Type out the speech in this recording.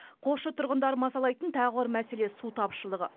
қосшы тұрғындарын мазалайтын тағы бір мәселе су тапшылығы